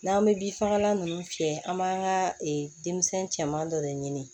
N'an bɛ bin fagalan nunnu fiyɛ an b'an ka denmisɛn caman dɔ de ɲini